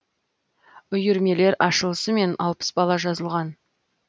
үйірмелер ашылысымен алпыс бала жазылған